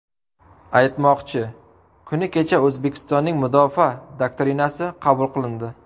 Aytmoqchi, kuni kecha O‘zbekistonning Mudofaa doktrinasi qabul qilindi .